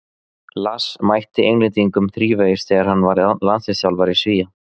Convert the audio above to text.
Lars mætti Englendingum þrívegis þegar hann var landsliðsþjálfari Svía.